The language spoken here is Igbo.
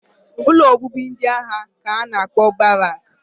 Ụlọ obibi ndị agha ka a na-akpọ Barak